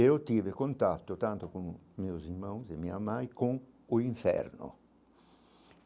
E eu tive contato tanto com meus irmãos e minha mãe com o inferno.